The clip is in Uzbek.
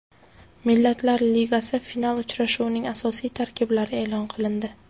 Millatlar Ligasi final uchrashuvining asosiy tarkiblari e’lon qilindi.